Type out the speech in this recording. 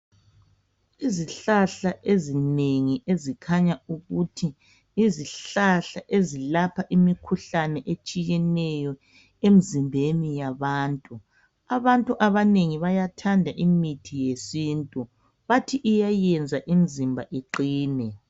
Izihlahla ezinengi ezikhanya ukuthi yizihlahla ezilapha imikhuhlane etshiyeneyo emizimbeni yabantu abantu abanengi bayathanda imithi yesintu bathi iyayenza imizimba iqine.